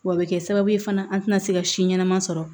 Wa a bɛ kɛ sababu ye fana an tɛna se ka si ɲɛnama sɔrɔ